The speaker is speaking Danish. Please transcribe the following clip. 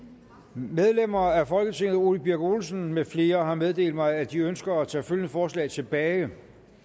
medlemmer af folketinget ole birk olesen med flere har meddelt mig at de ønsker at tage følgende forslag tilbage